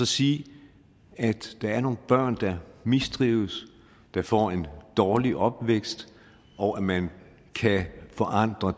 sige at der er nogle børn der mistrives der får en dårlig opvækst og at man kan forandre